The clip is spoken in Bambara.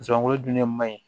Zonzani dun de man ɲi